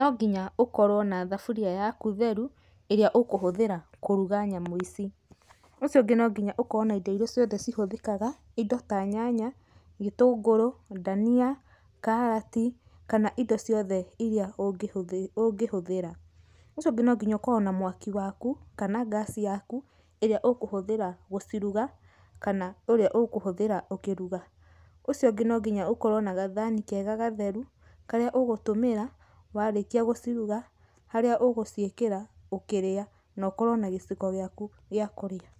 No nginya ũkorwo na thaburia yaku theru ĩrĩa ũkũhuthĩra kũruga nyamũ ici. Ũcio ũngĩ no nginya ũkorwo na indo irĩa ciothe ihũthĩkaga, indo ta nyanya, gĩtũngũrũ, dania, karati kana indo ciothe iria ũngĩhũthĩra. Ũcio ũngi no nginya ũkorwo na mwaki waku kana gasi yaku ĩrĩa ũkũhũthĩra guciruga kana ũrĩa ũkũhũthĩra ũkĩruga. Ũcio ũngĩ no nginya ũkorwo na gathani kega gatheru karĩa ũgũtũmĩra warĩkia guciruga harĩa ũgũcíiĩkĩra ũkĩrĩa na ũkorwo na giciko gĩaku gĩa kũrĩa.